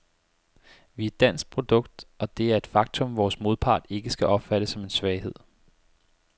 Vi er et dansk produkt, og det er et faktum, vores modpart ikke skal opfatte som en svaghed.